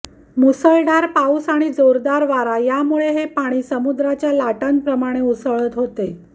मुसळधार पाऊस आणि जोरदार वारा यांमुळे हे पाणी समुद्राच्या लाटांप्रमाणे उसळत होते